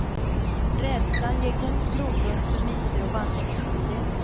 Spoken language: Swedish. Rädslan ger god grogrund för myter och vandringshistorier.